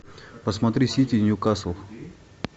посмотри сити ньюкасл